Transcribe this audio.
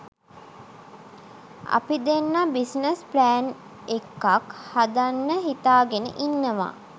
අපි දෙන්න business plan එකක් හදන්න හිතාගෙන ඉනන්වා.